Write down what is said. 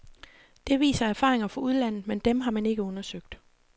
Det viser erfaringer fra udlandet, men dem har man ikke undersøgt.